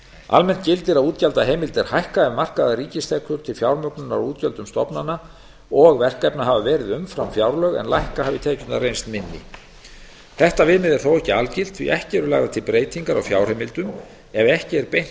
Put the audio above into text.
almennt gildir að útgjaldaheimildir hækka ef markaðar ríkistekjur til fjármögnunar á útgjöldum stofnana og verkefna hafa verið umfram fjárlög en lækka hafi tekjurnar reynst minni þetta viðmið er þó ekki algilt því að ekki eru lagðar til breytingar á fjárheimildum ef ekki er beint